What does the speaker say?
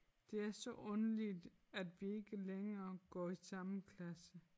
Det er så underligt at vi ikke længere går i samme klasse